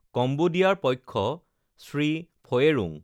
কম্বোদিয়াৰ পক্ষঃ শ্ৰী ফয়েৰুং